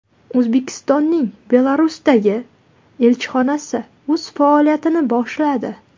O‘zbekistonning Belarusdagi elchixonasi o‘z faoliyatini boshladi.